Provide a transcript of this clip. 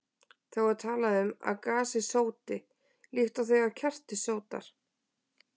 Þá er talað um að gasið sóti, líkt og þegar kerti sótar.